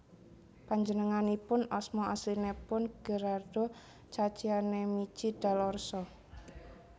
Panjenenganipun asma aslinipun Gherardo Caccianemici dal Orso